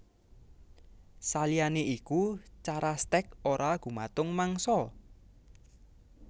Saliyané iku cara stèk ora gumantung mangsa